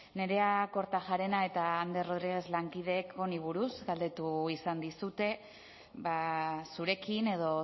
nerea kortajarena eta ander rodriguez lankideek honi buruz galdetu izan dizute zurekin edo